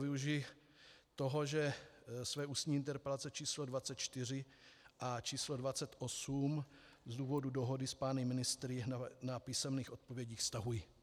Využiji toho, že své ústní interpelace číslo 24 a číslo 28 z důvodu dohody s pány ministry na písemných odpovědích stahuji.